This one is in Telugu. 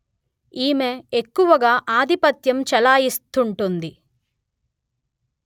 ఈమె ఎక్కువగా ఆధిపత్యం చెలాయిస్తుంటుంది